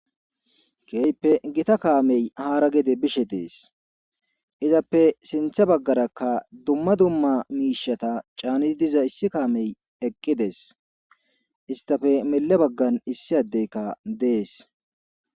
Keyppe gita kaamey haara gede bishe dees izappe sintha baggaraka dumma dumma miishata caanidi diza issi kaamey eqqidees istafe mele baggan issi addeykka dees.